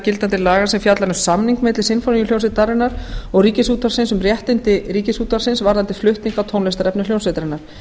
gildandi laga sem fjallar um samning milli sinfóníuhljómsveitarinnar og ríkisútvarpsins um réttindi ríkisútvarpsins varðandi flutning á tónlistarefni hljómsveitarinnar